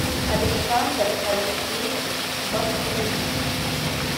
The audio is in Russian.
александр алексеевич бастрыгин